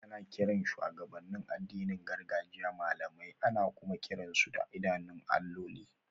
Ana kiran shugabannin addinin gargajiya limamai, ana kuma kiran su da idanun alloli.